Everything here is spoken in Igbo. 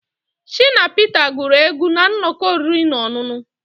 Shina Peter guru egwu na nnọkọ oriri na ọṅụṅụ